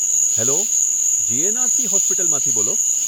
Hello! GNRC હોસ્પિટલમાંથી બોલો?